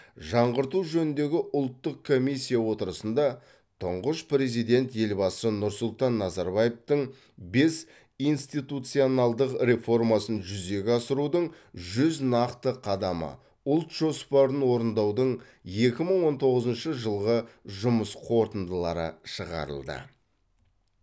жаңғырту жөніндегі ұлттық комиссия отырысында тұңғыш президент елбасы нұрсұлтан назарбаевтың бес институционалдық реформасын жүзеге асырудың жүз нақты қадамы ұлт жоспарын орындаудың екі мың он тоғызыншы жылғы жұмыс қорытындылары шығарылды